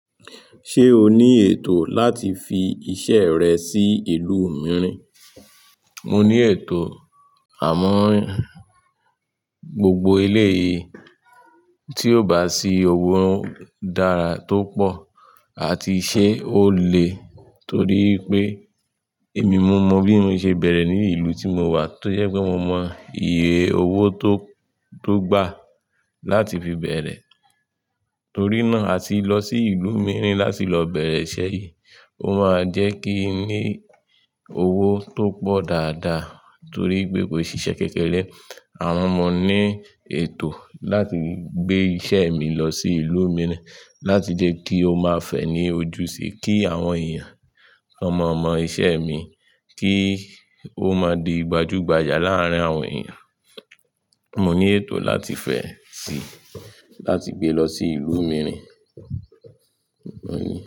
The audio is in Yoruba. Ṣé o ní ètò láti fi iṣẹ́ rẹ sí ìlú mìíràn? Mo ní ètò, àmọ́ gbogbo éleyìí tí ò bá sí owó dára tó pọ̀ àti ṣé ó le, torí pé èmi mọ bí mo ṣe bẹ̀rẹ̀ ní ìlú tí mo wà, tó jẹ́ pé mo mọ iye owó tó, tó gbà láti fi bẹ̀rẹ̀. Torí náà, àti lọ sí ìlú mìíràn láti lọ bẹ̀rẹ̀ iṣẹ́ yìí, ó máa jẹ́ kí n ní owó tó pọ̀ dáadáa torí pé kò i ṣe iṣẹ́ kékeré. Àwọn ọmọ ní ètò láti gbé iṣẹ́ mi lọ sí ìlú mìíràn láti jẹ́ kí ó máa fẹ̀ ní ojú si, kí àwọn èèyàn kan mọọ mọ̀ iṣẹ́ mi, kí ó máa di gbajúgbajà láàárín àwọn èèyàn. Mo ní ètò láti fẹẹ sí, láti gbé lọ sí ìlú mìíràn, mo ní.